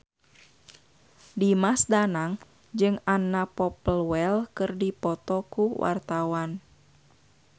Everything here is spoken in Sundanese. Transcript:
Dimas Danang jeung Anna Popplewell keur dipoto ku wartawan